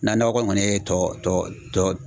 Na nɔgɔ kɔni ye tɔ